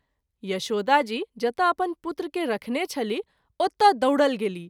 यशोदा जी जतय अपन पुत्र के रखने छलीह ओतय दौड़ल गेलीह।